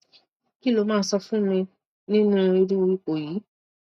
kí lo máa sọ fún mi nínú irú ipò yìí